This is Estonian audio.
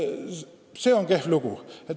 See on kehv lugu.